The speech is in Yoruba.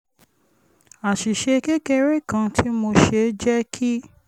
àṣìṣe kékeré kan tí mo ṣe jẹ́ kí